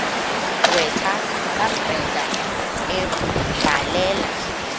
gqwetha kabrenda ebhalela